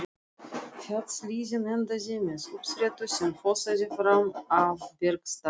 Fjallshlíðin endaði með uppsprettu sem fossaði fram af bergstalli.